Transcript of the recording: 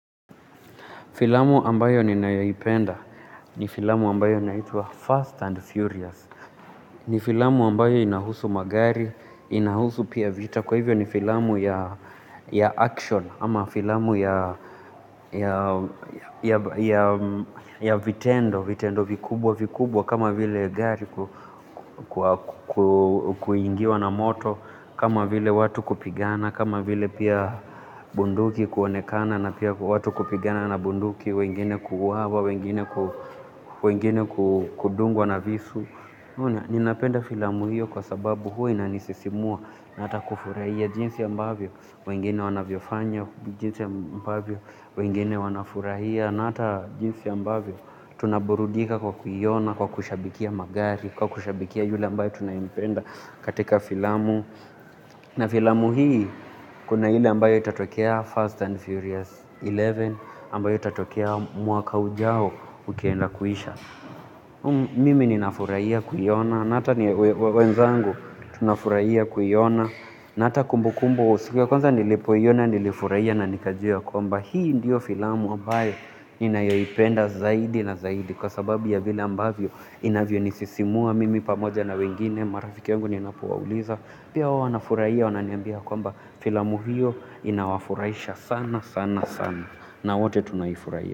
Filamu ambayo ninayoipenda, ni filamu ambayo inaitwa fast and furious ni filamu ambayo inahusu magari, inahusu pia vita kwa hivyo ni filamu ya action ama filamu ya vitendo, vitendo vikubwa vikubwa kama vile gari kuingiwa na moto kama vile watu kupigana, kama vile pia bunduki kuonekana na pia watu kupigana na bunduki, wengine kuuwawa, wengine kudungwa na visu ninapenda filamu hiyo kwa sababu huwa inanisisimua na hata kufurahia jinsi ambavyo, wengine wanavyofanya, jinsi ambavyo, wengine wanafurahia na hata jinsi ambavyo, tunaburudika kwa kuiona, kwa kushabikia magari kwa kushabikia yule ambaye tunayempenda katika filamu na filamu hii kuna ile ambayo itatokea First and Furious kumi na moja ambayo itatokea mwaka ujao ukienda kuisha mimi ninafurahia kuiona na hata wenzangu tunafurahia kuiona na hata kumbu kumbu siku ya kwanza nilipoiona nilifurahia na nikajua ya kwamba hii ndiyo filamu ambayo ninayoipenda zaidi na zaidi kwa sababu ya vile ambayo inavyonisisimua mimi pamoja na wengine, marafiki wangu ninapowauliza. Pia wao wanafurahia wananiambia kwamba filamu hiyo inawafurahisha sana sana sana na wote tunaifurahia.